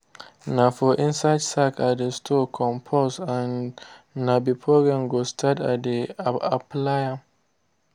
na for inside sack i dey store compost and na before rain go start i dey apply am.